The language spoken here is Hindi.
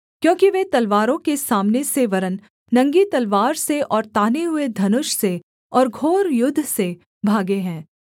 क्योंकि वे तलवारों के सामने से वरन् नंगी तलवार से और ताने हुए धनुष से और घोर युद्ध से भागे हैं